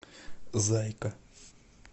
зайка